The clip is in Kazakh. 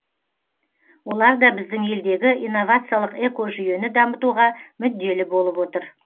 олар да біздің елдегі инновациялық экожүйені дамытуға мүдделі болып отыр